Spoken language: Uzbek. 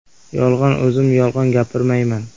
Yolg‘on O‘zim yolg‘on gapirmayman.